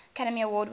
academy award winning